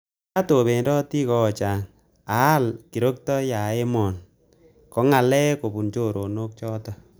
Makaat obendoti koochang akial kirokto ya emoni .Kongalek kobun choronok choto